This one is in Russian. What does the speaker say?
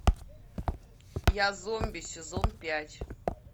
я зомби сезон пять